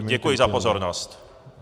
Ano, děkuji za pozornost.